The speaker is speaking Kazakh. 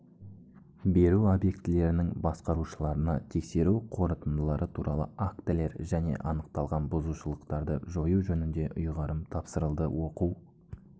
беру объектілерінің басқарушыларына тексеру қорытындылары туралы актілер және анықталған бұзушылықтарды жою жөнінде ұйғарым тапсырылды оқу